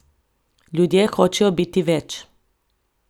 Ljudje hočejo biti več.